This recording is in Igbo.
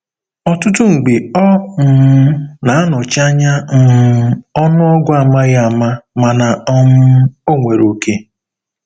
Ọtụtụ mgbe ọ um na-anọchi anya um ọnụọgụ amaghi ama mana um ọ nwere oke.